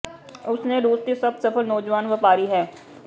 ਉਸ ਨੇ ਰੂਸ ਦੀ ਸਭ ਸਫਲ ਨੌਜਵਾਨ ਵਪਾਰੀ ਹੈ